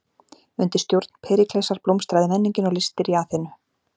Undir stjórn Períklesar blómstraði menningin og listir í Aþenu.